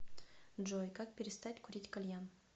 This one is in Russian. джой как перестать курить кальян